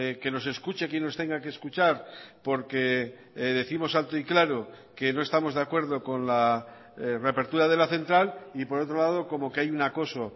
que nos escuche quien nos tenga que escuchar porque décimos alto y claro que no estamos de acuerdo con la reapertura de la central y por otro lado como que hay un acoso